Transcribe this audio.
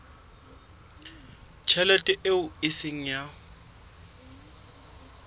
tjhelete eo e seng ya